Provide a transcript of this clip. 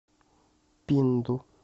пинду